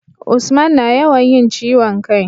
Usman na yawan yin ciwon kai